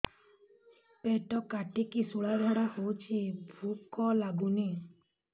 ପେଟ କାଟିକି ଶୂଳା ଝାଡ଼ା ହଉଚି ଭୁକ ଲାଗୁନି